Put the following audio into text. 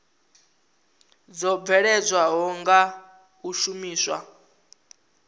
dzo bveledzwaho nga u shumiswa